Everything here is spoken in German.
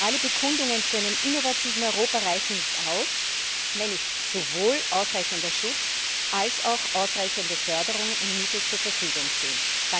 Alle Bekundungen zu einem innovativen Europa reichen nicht aus, wenn nicht sowohl ausreichender Schutz als auch ausreichende Förderungen und Mittel zur Verfügung stehen.